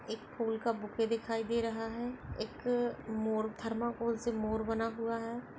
एक फूल का बुके दिखाई दे रहा है एक मोर थर्मोकोल से मोर बना हुआ है।